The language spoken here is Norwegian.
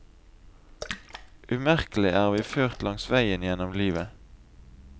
Umerkelig er vi ført langs veier gjennom livet.